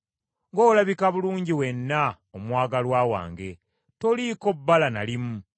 Ng’olabika bulungi wenna, omwagalwa wange, toliiko bbala na limu.